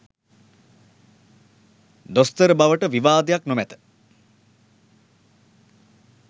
දොස්තර බවට විවාදයක් නොමැත